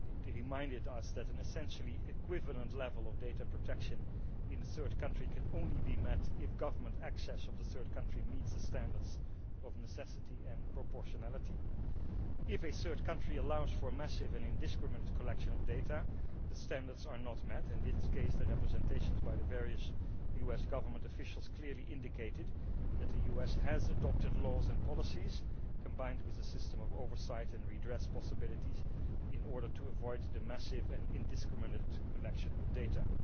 it reminded us that an essentially equivalent level of data protection in a third country can only be met if government access to the third country meets the standards of necessity and proportionality. If a third country allows for massive and indiscriminate collection of data, the standards are not met, and in this case the representations by the various US government officials clearly indicated that the US has adopted laws and policies combined with a system of oversight and redress possibilities in order to avoid the massive and indiscriminate collection of data.